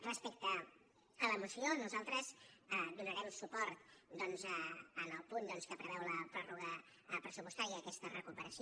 respecte a la moció nosaltres donarem suport doncs al punt que preveu la pròrroga pressupostària a aques·ta recuperació